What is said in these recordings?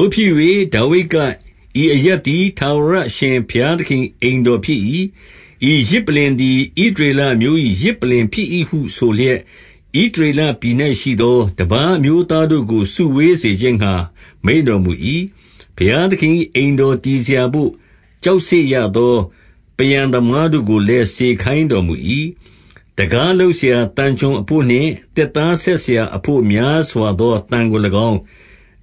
ို့ဖြစ်၍၊ ဒါဝိဒ်က ဤအရပ်သည် ထာဝရ အရှင်ဘုရားသခင်၏အိမ်တော်ဖြစ်၏။ ဤယဇ်ပလ္လင်သည် ဣသရေလ အမျိုး၏ ယဇ်ပလ္လင်ဖြစ်၏ဟုဆိုလျက်၊ ဣသရေလပြည်၌ရှိသော တပါးအမျိုးသားတို့ကို စုဝေးစေခြင်း ငှါမိန့်တော်မူ၏။ ဘုရားသခင်၏အိမ်တော် တည်စရာဘို့ ကျောက်ဆစ်ရသော ပန်းရန်သမားတို့ကို လည်း စေခိုင်းတော်မူ၏။ တံခါးလုပ်စရာ သံချွန်အဘို့နှင့် သစ်သား ဆက်စရာအဘို့များစွာသောသံကို၎င်း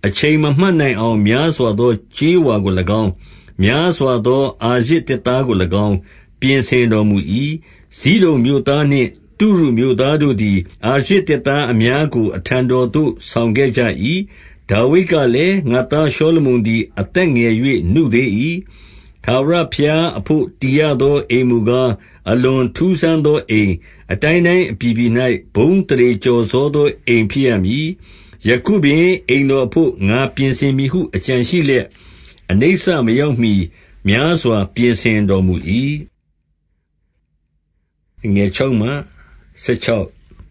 ၊ အချိန်မမှတ် နိုင်အောင် များစွာသော ကြေးဝါကို၎င်း၊ များစွာသော အာရဇ်သစ်သားကို၎င်း၊ ပြင်ဆင် တော်မူ၏။ ဇိဒုန်မြို့သားနှင့် တုရုမြို့သားတို့သည်၊ အာရဇ် သစ်သားအများကို အထံတော်သို့ ဆောင်ခဲ့ကြ၏။ ဒါဝိဒ်ကလည်း၊ ငါ့သားရှောလမုန်သည် အသက် ငယ်၍ နုသေး၏။ ထာဝရဘုရားအဘို့ တည်ရသော အိမ်မူကား အလွန်ထူးဆန်းသောအိမ်၊ အတိုင်းတိုင်း အပြည်ပြည်၌ ဘုန်းအသရေကျော်စောသော အိမ်ဖြစ်ရ မည်။ ယခုပင်အိမ်တော်အဘို့ ငါပြင်ဆင်မည်ဟု အကြံရှိ လျက် အနိစ္စမရောက်မှီများစွာ ပြင်ဆင်တော်မူ၏။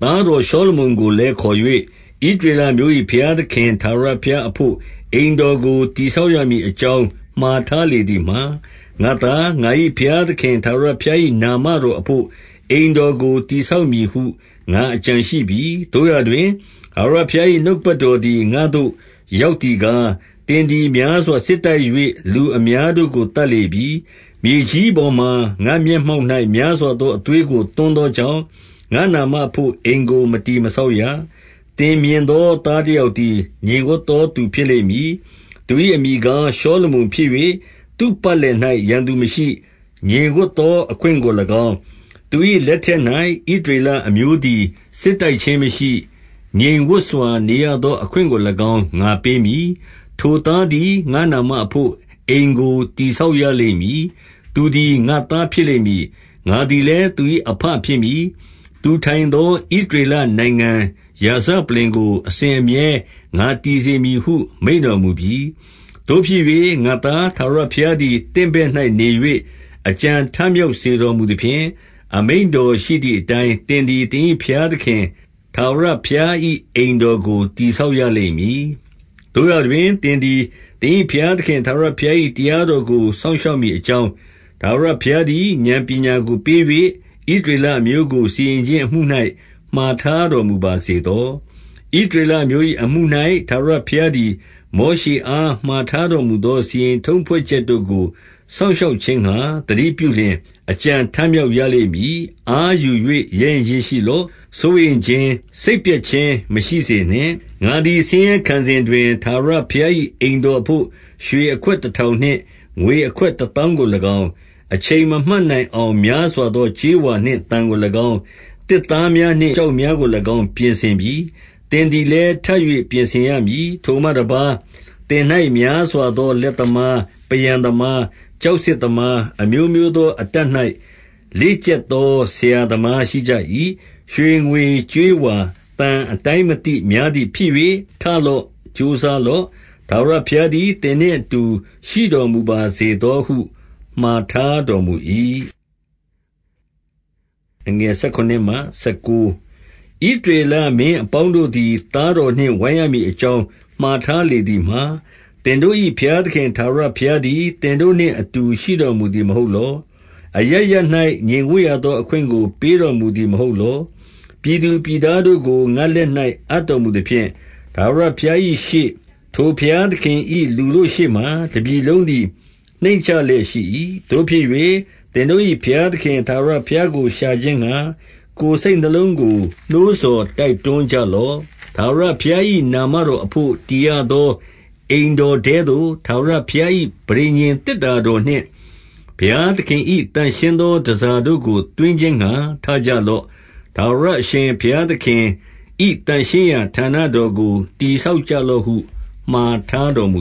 သားတော်ရှောလုမုန်ကိုလည်း ခေါ်၍ ဣသ ရေလအမျိုး၏ ဘုရားသခင် ထာဝရဘုရားအဘို့ အိမ်တော်ကို တည်ဆောက်ရမည်အကြောင်းမှာ ထားလေ သည်မှာ၊ ငါ့သား၊ ငါ၏ဘုရားသခင် ထာဝရဘုရား၏ နာမတော်အဘို့ အိမ်တော်ကို တည်ဆောက်မည်ဟု ငါအကြံရှိပြီ။ သို့ရာတွင် ထာဝရဘုရား၏ နှုတ်ကပတ်တော် သည် ငါသို့ရောက်သည်ကား၊ သင်သည် များစွာ စစ်တိုက် ၍ လူအများတို့ကို သတ်လေပြီ။ မြေကြီးပေါ်မှာ ငါ့မျက်မှောက်၌ များစွာသောအသွေးကို သွန်းသော ကြောင့်၊ ငါ့နာမအဘို့ အိမ်ကို မတည်မဆောက်ရ။ သင်မြင်သော သားတယောက်သည် ငြိမ်ဝပ်သော သူဖြစ်လိမ့်မည်။ သူ၏အမည်ကား ရှောလမုန် ဖြစ်၍၊ သူ့ပတ်လည်၌ ရန်သူမရှိ။ ငြိမ်ဝပ်သောအခွင့်ကို၎င်း၊ သူ၏ လက်ထက်၌ ဣသရေလအမျိုးသည် စစ်တိုက်ခြင်းမရှိ။ ငြိမ်ဝပ်စွာနေရသော အခွင့်ကို၎င်း၊ ငါပေးမည်။ ထိုသားသည် ငါ့နာမအဘို့ အိမ်ကို တည် ဆောက်ရလိမ့်မည်။ သူသည် ငါ့သားဖြစ်လိမ့်မည်။ ငါသည်လည်း သူ၏အဘဖြစ်မည်။ သူထိုင်သော ဣသရေလနိုင်ငံရာဇပလ္လင်ကို အစဉ်အမြဲငါတည်စေမည်ဟု မိန့်တော်မူပြီ။ သို့ဖြစ်၍ငါ့သား၊ ထာဝရဘုရားသည် သင့်ဘက် ၌ နေ၍ အကြံထမြောက်စေတော်မူသဖြင့်၊ အမိန့်တော် ရှိသည်အတိုင်းသင်သည် သင်၏ဘုရားသခင် ထာဝရ ဘုရား၏ အိမ်တော်ကို တည်ဆောက်ရလိမ့်မည်။ သို့ရာတွင် သင်သည် သင်၏ဘုရားသခင် ထာဝရဘုရား၏ တရားတော်ကို စောင့်ရှောက်မည် အကြောင်း၊ ထာဝရဘုရားသည် ဥာဏ်ပညာကို ပေး၍၊ ဣသရေလအမျိုးကို စီရင်ခြင်းအမှု၌ မှာထားတော် မူပါစေသော။ ဣသရေလအမျိုး၏ အမှု၌ထာဝရဘုရားသည် မောရှေအား မှာထားတော်မူသောစီရင်ထုံးဖွဲ့ချက်တို့ကို စောင့်ရှောက်ခြင်းငှါ သတိပြုလျှင် အကြံထမြောက်ရ လိမ့်မည်။ အားယူ၍ ရဲရင့်ခြင်းရှိလော့။ စိုးရိမ်ခြင်း၊ စိတ်ပျက်ခြင်း မရှိစေနှင့်။ ငါသည်ဆင်းရဲခံစဉ်တွင်၊ ထာဝရဘုရား၏ အိမ်တော်အဘို့ ရွှေအခွက်တထောင်နှင့် ငွေအခွက် တသောင်းကို၎င်း၊ အချိန်မမှတ်နိုင်အောင် များစွာသော ကြေးဝါနှင့်သံကို၎င်း၊ သစ်သားများနှင့်ကျောက်များကို ၎င်းပြင်ဆင်ပြီ။ သင်သည်လည်း ထပ်၍ ပြင်ဆင်ရမည်။ ထိုမှတပါးသင်၌များစွာသော လက်သမား၊ ပန်းရန်သမား၊ ကျောက်ဆစ်သမား၊ အမျိုးမျိုးသော အတတ်၌ လေ့ကျက်သော ဆရာသမားရှိကြ၏။ ရွှေငွေကြေးဝါ သံအတိုင်းမသိများသည် ဖြစ်၍ ထလော့။ ကြိုးစားလော့။ ထာဝရဘုရားသည် သင်နှင့် အတူ ရှိတော်မူပါစေသောဟု မှာထားတော်မူ၏။ ဣသရေလမင်းအပေါင်းတို့သည် သားတော်နှင့် ဝိုင်းရမည်အကြောင်း မှာထားလေသည်မှာ၊ သင်တို့၏ဘုရားသခင် ထာဝရဘုရားသည် သင်တို့နှင့်အတူ ရှိတော်မူသည်မဟုတ်လော။ အရပ်ရပ်၌ ငြိမ်ဝပ်ရသော အခွင့်ကို ပေးတော်မူသည်မဟုတ်လော။ ပြည်သူပြည်သားတို့ကို ငါ့လက်၌အပ်တော်မူသဖြင့်၊ ထာဝရဘုရား၏ရှေ့၊ ထိုဘုရားသခင်၏ လူတို့ရှေ့မှာ တပြည်လုံးသည် နှိမ့်ချလျက်ရှိ၏။ သို့ဖြစ်၍သင်တို့၏ ဘုရားသခင်ထာဝရဘုရား ကို ရှာခြင်းငှါ ကိုယ်စိတ်နှလုံးကို နှိုးဆော်တွန်းကြလော့။ ထာဝရဘုရား၏နာမတော်အဘို့၊ တည်ရသော အိမ်တော် ထဲသို့ ထာဝရဘုရား၏ ပဋိညာဉ်သေတ္တာတော်နှင့် ဘုရား သခင်၏ သန့်ရှင်းသောတန်ဆာတို့ကို သွင်းခြင်းငှါ ထကြ လော့။ ထာဝရအရှင်ဘုရားသခင်၏ သန့်ရှင်းရာဌာန တော်ကို တည်ဆောက်ကြလော့ဟု မှာထားတော်မူ